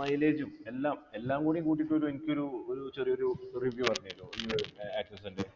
mileage ഉം എല്ലാം എല്ലാം കൂടി കൂട്ടിയിട്ട് ഒരു എനിക്കൊരു ഒരു ചെറിയൊരു review പറഞ്ഞേരുഓ access ൻ്റെ